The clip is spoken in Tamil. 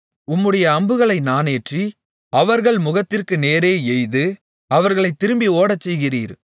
உம்முடைய அம்புகளை நாணேற்றி அவர்கள் முகத்திற்கு நேரே எய்து அவர்களைத் திரும்பி ஓடச்செய்கிறீர்